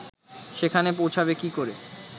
সেখানে পৌঁছাবে কি করে